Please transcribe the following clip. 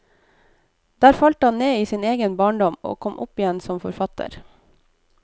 Der falt han ned i sin egen barndom og kom opp igjen som forfatter.